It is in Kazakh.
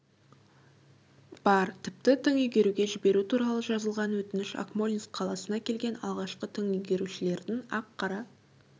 бар тіпті тың игеруге жіберу туралы жазылған өтініш акмолинск қаласына келген алғашқы тың игерушілердің ақ-қара